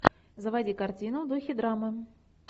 заводи картину в духе драмы